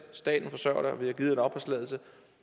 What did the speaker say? staten forsørger dig og vi har givet dig en opholdstilladelse